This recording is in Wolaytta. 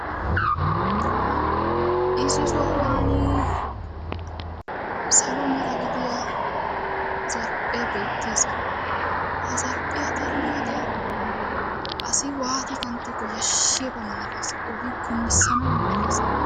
Issi sohuwan salo mera gidiya zarphphee beettes ha zarphphiya xeelliyoode asi waati kanttiyakko yashshiyaba malates kunddissanaba malatees.